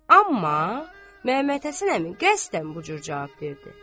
Amma Məmmədhəsən əmi qəsdən bu cür cavab verdi.